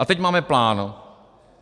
A teď máme plán.